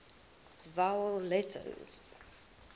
vowel letters